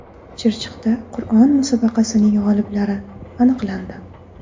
Chirchiqda Qur’on musobaqasining g‘oliblari aniqlandi.